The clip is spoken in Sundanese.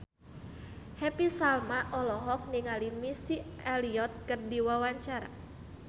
Happy Salma olohok ningali Missy Elliott keur diwawancara